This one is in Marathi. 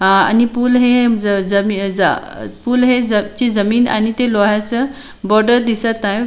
अह आणि पूल हे ज ज जमी जा पूल हे ची जमीन आणि ते लोहाच बॉर्डर दिसत हाय.